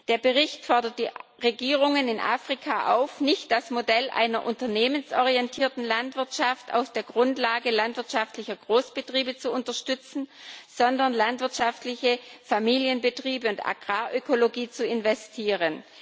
Der Bericht fordert die Regierungen in Afrika auf, nicht das Modell einer unternehmensorientierten Landwirtschaft auf der Grundlage landwirtschaftlicher Großbetriebe zu unterstützen, sondern in landwirtschaftliche Familienbetriebe und Agrarökologie zu investieren.